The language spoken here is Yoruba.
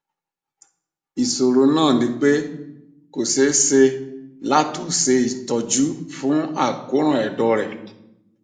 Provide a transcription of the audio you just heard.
isoro na nipe ko se se lato se itoju fun akoran edo re